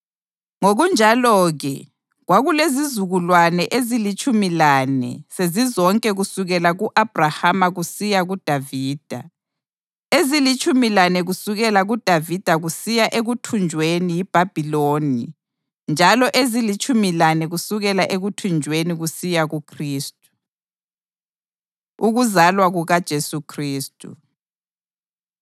Ngokunjalo-ke, kwakulezizukulwane ezilitshumi lane sezizonke kusukela ku-Abhrahama kusiya kuDavida, ezilitshumi lane kusukela kuDavida kusiya ekuthunjweni yiBhabhiloni njalo ezilitshumi lane kusukela ekuthunjweni kusiya kuKhristu. Ukuzalwa KukaJesu Khristu